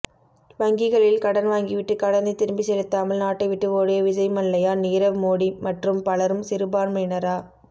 வங்கிகளில் கடன் வாங்கிவிட்டு கடனை திரும்பி செலுத்தாமல் நாட்டைவிட்டு ஒடிய விஜய் மல்லையா நீரவ் மோடி மற்றும் பலரும் சிறுபான்மையினரா